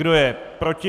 Kdo je proti?